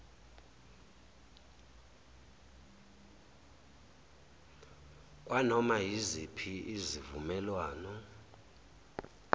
kwanoma yiziphi izivumelwano